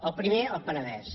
el primer el penedès